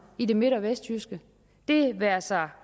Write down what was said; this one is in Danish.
i det midt og vestjyske det være sig